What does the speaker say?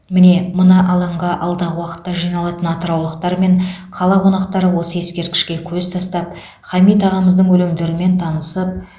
міне мына алаңға алдағы уақытта жиналатын атыраулықтар мен қала қонақтары осы ескерткішке көз тастап хамит ағамыздың өлеңдерімен танысып